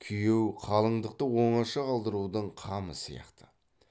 күйеу қалыңдықты оңаша қалдырудың қамы сияқты